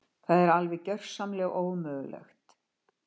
Það er alveg gjörsamlega ómögulegt.